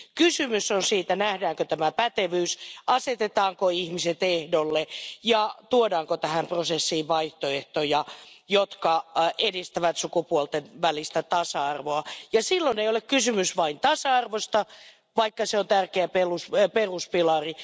Kysymys on siitä, nähdäänkö tämä pätevyys, asetetaanko ihmiset ehdolle ja tuodaanko tähän prosessiin vaihtoehtoja, jotka edistävät sukupuolten välistä tasa arvoa, ja silloin ei ole kysymys vain tasa arvosta, vaikka se on tärkeä peruspilari.